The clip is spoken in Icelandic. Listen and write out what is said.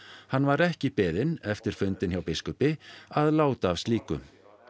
hann var ekki beðinn eftir fundinn hjá biskupi að láta af slíku